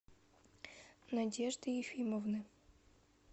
надежды ефимовны